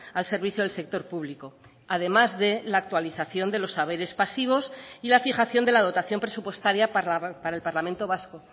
al servicio del sector público además de la actualización de los haberes pasivos y la fijación de la dotación presupuestaria para el parlamento vasco